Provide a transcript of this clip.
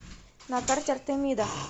на карте артемида